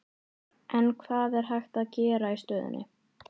En hvað er hægt að gera í stöðunni?